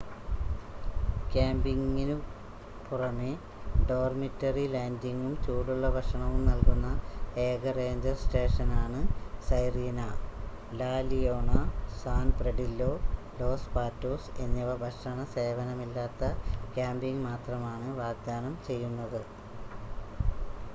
ക്യാമ്പിംഗിനു പുറമേ ഡോർമിറ്ററി ലാൻഡിംഗും ചൂടുള്ള ഭക്ഷണവും നൽകുന്ന ഏക റേഞ്ചർ സ്റ്റേഷനാണ് Sirena La Leona San Pedrillo Los Patos എന്നിവ ഭക്ഷണ സേവനമില്ലാത്ത ക്യാമ്പിംഗ് മാത്രമാണ് വാഗ്ദാനം ചെയ്യുന്നത്